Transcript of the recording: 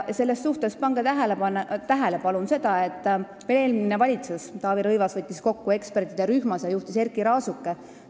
Selles suhtes pange palun tähele, et veel eelmine valitsusjuht Taavi Rõivas kutsus kokku ekspertide rühma, mida juhtis Erkki Raasuke.